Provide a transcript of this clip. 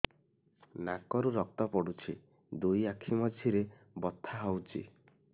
ନାକରୁ ରକ୍ତ ପଡୁଛି ଦୁଇ ଆଖି ମଝିରେ ବଥା ହଉଚି